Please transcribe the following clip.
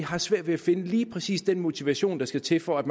har svært ved at finde lige præcis den motivation der skal til for at